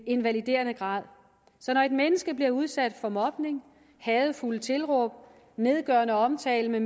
invaliderende karakter så når et menneske bliver udsat for mobning hadefulde tilråb nedgørende omtale